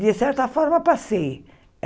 De certa forma, passei.